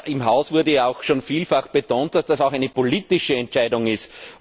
Aber im Haus wurde ja auch schon vielfach betont, dass das auch eine politische Entscheidung ist.